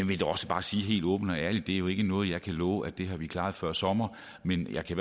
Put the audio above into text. vil da også bare sige helt åbent og ærligt at det jo ikke er noget jeg kan love at vi har klaret før sommer men jeg kan